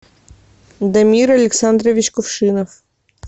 дамир александрович кувшинов